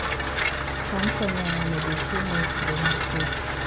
cham konyo e medo chiemo e kinde mag kech